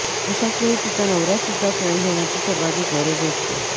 अशाचवेळी तिचा नवराच तिचा फ्रेण्ड होण्याची सर्वाधिक गरज असते